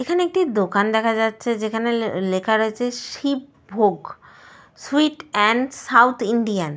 Table দেখা যাচ্ছে chair দেখা যাচ্ছে একজন ভদ্রলোক বসে রয়েছেন।